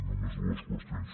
només dues qüestions